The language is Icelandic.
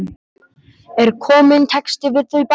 Er kominn texti við þau bæði?